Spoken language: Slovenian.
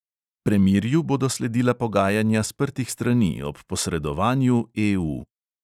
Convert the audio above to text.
Premirju bodo sledila pogajanja sprtih strani ob posredovanju EU.